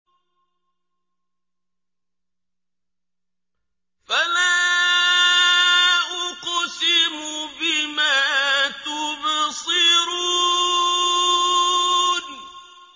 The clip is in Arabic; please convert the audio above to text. فَلَا أُقْسِمُ بِمَا تُبْصِرُونَ